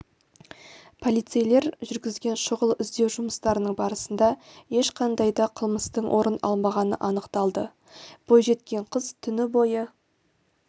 полицейлер жүргізген шұғыл іздеу жұмыстарының барысында ешқандай да қылмыстың орын алмағаны анықталды бойжеткен қыз түні бойы